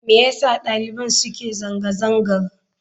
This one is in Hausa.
Me yasa daliban suke zanga-zangar?